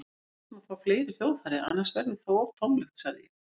Við þyrftum að fá fleiri hljóðfæri, annars verður það of tómlegt, sagði ég.